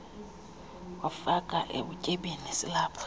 wasifaka ebutyebini silapha